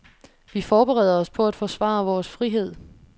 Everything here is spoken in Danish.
Vi forbereder os på at forsvare vores frihed.